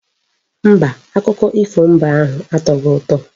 Mba, akụkọ ifo mbe ahụ atoghi ụtọ.